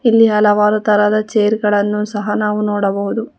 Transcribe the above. ಇಲ್ಲಿ ಹಲವಾರು ತರದ ಚೇರ್ ಗಳನ್ನು ನಾವು ನೋಡಬಹುದು.